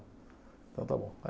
Então tá bom.